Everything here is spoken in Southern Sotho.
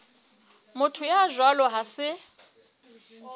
motho ya jwalo ha se